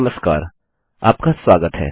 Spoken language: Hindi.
नमस्कार आपका स्वागत है